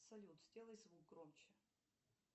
салют сделай звук громче